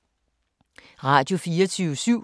Radio24syv